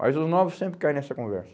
Mas os novos sempre cai nessa conversa.